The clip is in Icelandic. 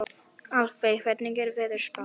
Álfey, hvernig er veðurspáin?